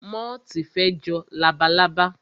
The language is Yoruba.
Móòtì fe jọ labalábá